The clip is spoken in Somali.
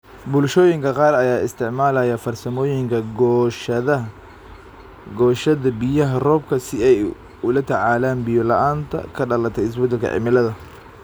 Bulshooyinka qaar ayaa isticmaalaya farsamooyinka goosashada biyaha roobka si ay ula tacaalaan biyo la'aanta ka dhalatay isbedelka cimilada.